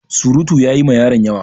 Surutu ya yi ma yaron yawa.